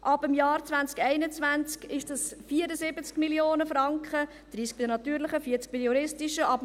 Ab dem Jahr 2021 sind dies 74 Mio. Franken – 30 Mio. bei den natürlichen Personen, 40 Mio. Franken bei den juristischen Personen.